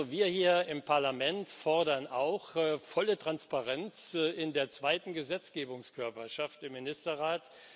Wir hier im Parlament fordern auch volle Transparenz in der zweiten Gesetzgebungskörperschaft, im Ministerrat.